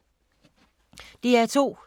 DR2